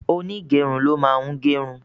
Onígẹrun ló máa ń gerun